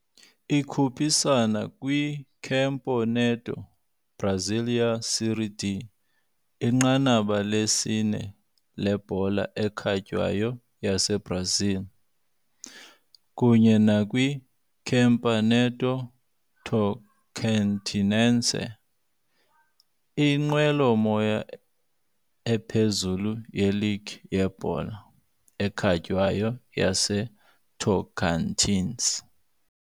Ikhuphisana kwiCampeonato Brasileiro Série D, inqanaba lesine lebhola ekhatywayo yaseBrazil, kunye nakwiCampeonato Tocantinense, inqwelomoya ephezulu yeligi yebhola ekhatywayo yaseTocantins.